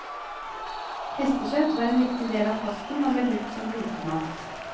Hestekjøtt var en viktig del av kosten og ble brukt som blotemat.